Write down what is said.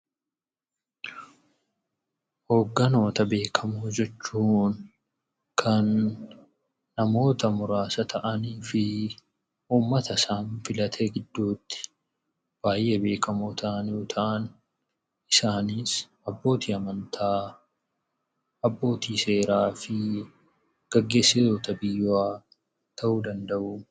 Hogganoota beekamoo jechuun kan namoota muraasa ta'anii fi uummata isaan filate gidduutti baay'ee beekamoo ta'an, isaanis abbootii amantaa, abbootii seeraa fi gaggeessitoota biyyaa ta'uu danda'u.